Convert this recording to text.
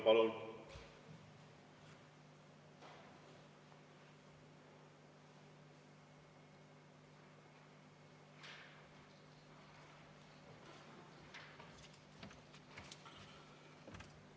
Palun!